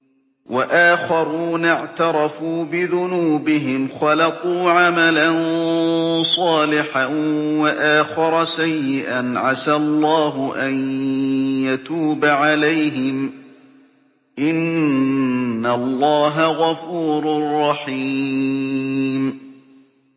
وَآخَرُونَ اعْتَرَفُوا بِذُنُوبِهِمْ خَلَطُوا عَمَلًا صَالِحًا وَآخَرَ سَيِّئًا عَسَى اللَّهُ أَن يَتُوبَ عَلَيْهِمْ ۚ إِنَّ اللَّهَ غَفُورٌ رَّحِيمٌ